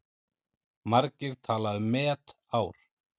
Margir tala um met ár.